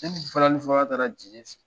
Ne ni balani fɔla taara fɛ